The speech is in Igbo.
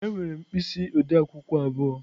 Ee, enwere m mkpịsị ode akwukwo abụọ.